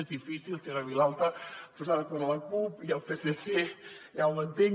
és difícil senyora vilalta posar d’acord la cup i el psc ja ho entenc